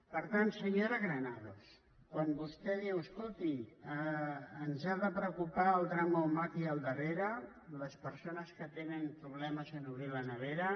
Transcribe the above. per tant senyora granados quan vostè diu escolti ens ha de preocupar el drama humà que hi ha al darrere les persones que tenen problemes en obrir la nevera